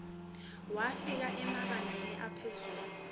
wafika emabangeni aphezulu